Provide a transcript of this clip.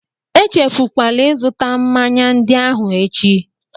Echefukwala ịzụta mmanya ndị ahụ echi!